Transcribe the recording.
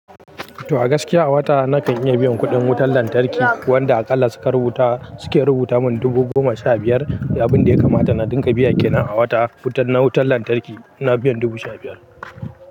To a gaskiya a wata na kan iya biyan kuɗin wutar lantarki wanda aƙalla suke rubuta mun dubu goma sha biyar, abin da ya kamata na dinga biya kenan a wata na wutar lantarki ina biyan dubu sha biyar.